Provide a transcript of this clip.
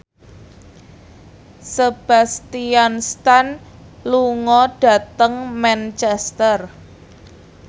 Sebastian Stan lunga dhateng Manchester